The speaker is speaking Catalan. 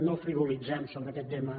no frivolitzem sobre aquest tema